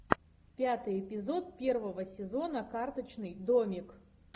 пятый эпизод первого сезона карточный домик